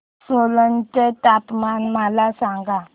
सोलन चे तापमान मला सांगा